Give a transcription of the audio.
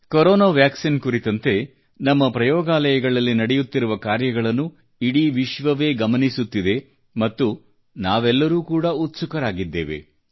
corona vaccine ಕುರಿತಂತೆ ನಮ್ಮ ಪ್ರಯೋಗಾಲಯಗಳಲ್ಲಿ ನಡೆಯುತ್ತಿರುವ ಕಾರ್ಯಗಳ ಮೇಲೆ ವಿಶ್ವವೆಲ್ಲಾ ವೀಕ್ಷಿಸುತ್ತಿದೆ ಮತ್ತು ನಮ್ಮೆಲ್ಲರ ಆಶಯ ಕೂಡಾ ಆಗಿದೆ